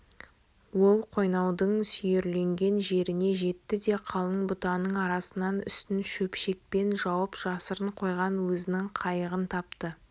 ол қойнаудың сүйірленген жеріне жетті де қалың бұтаның арасынан үстін шөпшекпен жауып жасырын қойған өзінің қайығын тапты